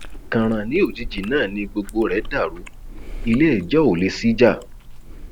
kànràn ní òjijì náà ni gbogbo rẹ dàrú ilé jọ olè sí já